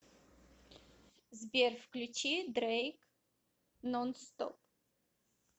сбер включи дрэйк нонстоп